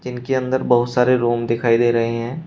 जिनके अंदर बहुत सारे रूम दिखाई दे रहे हैं।